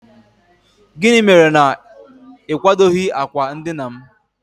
gịnị mere na ị kwadoghị akwa ndina'm?